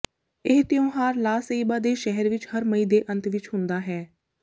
ਇਹ ਤਿਉਹਾਰ La Ceiba ਦੇ ਸ਼ਹਿਰ ਵਿੱਚ ਹਰ ਮਈ ਦੇ ਅੰਤ ਵਿੱਚ ਹੁੰਦਾ ਹੈ